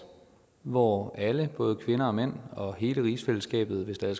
hvor alle både kvinder og mænd og hele rigsfællesskabet hvis der